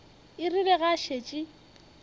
e rile ge a šetše